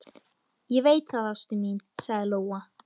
Ég veit það, ástin mín, sagði Lóa.